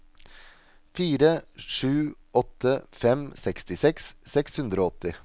fire sju åtte fem sekstiseks seks hundre og åtti